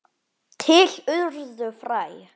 Til urðu fræ.